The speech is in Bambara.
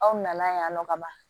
Aw nana yan nɔ ka ban